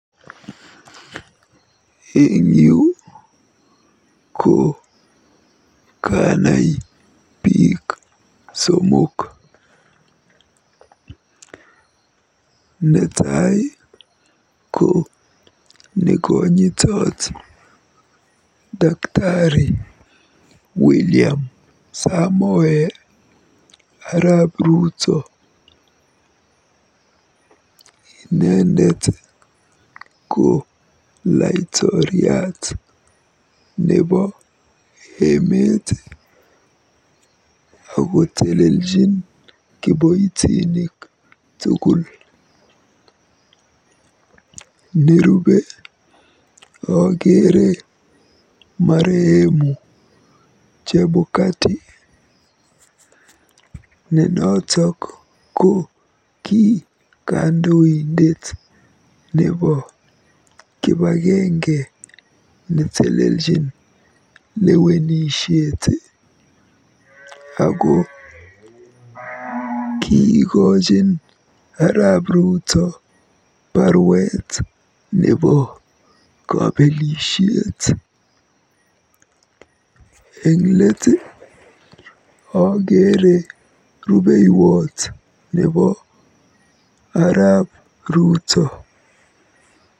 Eng yu ko kanai biik somok. Netai ko nekonyitot Daktari William Samoei arap Ruto. Inendet ko laitoriat nebo emet akoteleljin kiboitinik tugul. Nerube akeere marehemu Chebukati ne notok ko ki kandoindet nebo kipagenge neteleljin lewenishet ako kiikojin arap Ruto baruet neiboru kole keebelis lewenisiet. Nerubei ko rubeiwot nebo arap Ruto.